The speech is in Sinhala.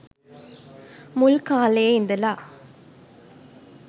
මුල් කාලයේ ඉඳළ